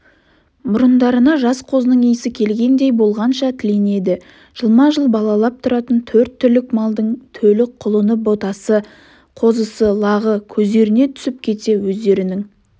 мұрындарына жас қозының иісі келгендей болғанша тіленеді жылма-жыл балалап тұратын төрт түлік малдың төлі құлыны ботасы қозысы лағы көздеріне түсіп кетсе өздерінің